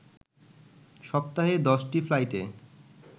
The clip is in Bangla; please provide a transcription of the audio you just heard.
সপ্তাহে ১০টি ফ্লাইটে